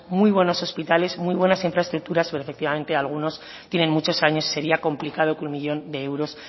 muy buenos hospitales muy buenas infraestructuras pero efectivamente algunos tienen muchos años y sería complicado que un millón de euros